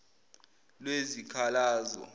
lwezikhalazo